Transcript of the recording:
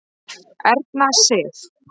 Erna Sif.